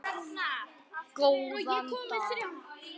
Góðan dag!